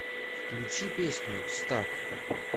включи песню стак